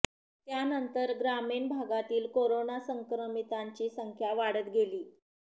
त्यानंतर ग्रामीण भागातील करोना संक्रमिततांची संख्या वाढत गेली